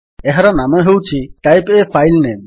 ଏହାର ନାମ ହେଉଛି ଟାଇପ୍ ଏ ଫାଇଲ୍ ନେମ୍